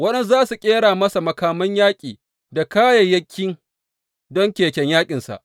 Waɗansu za su ƙera masa makaman yaƙi da kayayyaki don keken yaƙinsa.